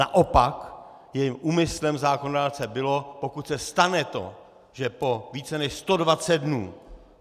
Naopak, jejím úmyslem zákonodárce bylo, pokud se stane to, že po více než 120 dnů